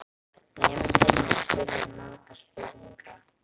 Nemendurnir spurðu margra spurninga.